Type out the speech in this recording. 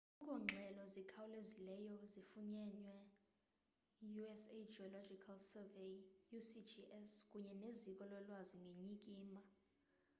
akukho ngxelo zikhawlezileyo zifunyenwe yi-u.s.geological survey usgs kunye neziko lolwazi ngenyikima